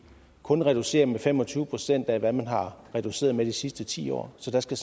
kun reducerer med fem og tyve procent af hvad man har reduceret med de sidste ti år så der skal